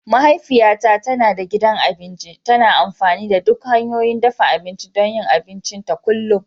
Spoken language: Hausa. Mahaifiyata tana da gidan abinci, tana amfani da duk hanyoyin dafa abinci don yin abincinta kullum.